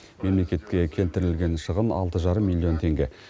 мемлекетке келтірілген шығын алты жарым миллион теңге